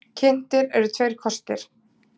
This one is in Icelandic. Kynntir eru tveir kostir.